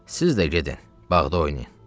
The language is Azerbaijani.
Siz də gedin bağda oynayın.